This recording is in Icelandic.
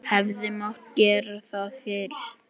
Hefði mátt gera það fyrr?